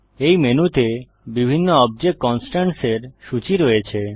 এই মেনুতে বিভিন্ন অবজেক্ট কন্সট্রেন্টসের সূচী রয়েছে